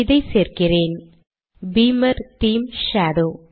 இதை சேர்க்கிறேன் - beamer theme shadow